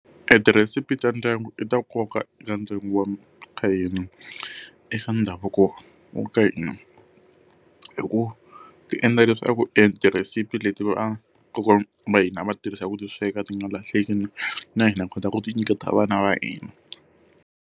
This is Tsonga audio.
Etirhesiphi ta ndyangu i ta nkoka eka ndyangu wa ka hina, i swa ndhavuko wa ka hina. Hikuva ti endla leswaku and etirhesiphi leti va kokwana va hina a va ti tirhisa ku ti sweka ti nga lahleki na hina ha kota ku ti nyiketa vana va hina.